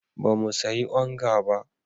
Ba mu sayi onga ba.